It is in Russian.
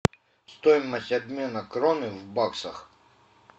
стоимость обмена кроны в баксах